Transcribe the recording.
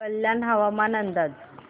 कल्याण हवामान अंदाज